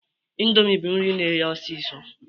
Ịndomi bụ nri na-eye ọsisọ